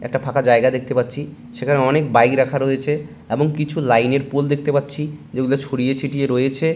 একটা ফাঁকা জায়গা দেখতে পাচ্ছি সেখানে অনেক বাইক রাখা রয়েছে এবং কিছু লাইন এর পোল দেখতে পাচ্ছি । যেগুলো ছড়িয়ে ছিটিয়ে রয়েছে